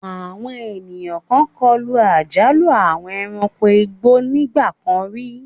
Àwọn ènìyàn kan kọlu àjálù àwọn ẹranko igbó ní ìgbà kan rí.